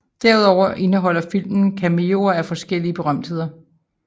Derudover indeholder filmen cameoer af forskellige berømtheder